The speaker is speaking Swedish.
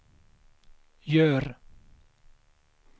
gör